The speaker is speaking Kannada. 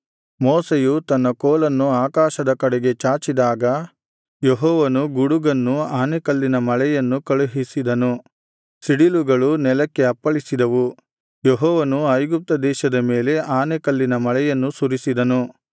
ಮೋಶೆಯು ತನ್ನ ಕೋಲನ್ನು ಆಕಾಶದ ಕಡೆಗೆ ಚಾಚಿದಾಗ ಯೆಹೋವನು ಗುಡುಗನ್ನು ಆನೆಕಲ್ಲಿನ ಮಳೆಯನ್ನು ಕಳುಹಿಸಿದನು ಸಿಡಿಲುಗಳು ನೆಲಕ್ಕೆ ಅಪ್ಪಳಿಸಿದವು ಯೆಹೋವನು ಐಗುಪ್ತ ದೇಶದ ಮೇಲೆ ಆನೆಕಲ್ಲಿನ ಮಳೆಯನ್ನು ಸುರಿಸಿದನು